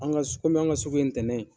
An ka kɔmi an ka sugu ye ntɛnɛn ye.